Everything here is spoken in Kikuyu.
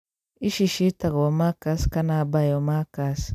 ici ciĩtagwo markers kana biomarkers.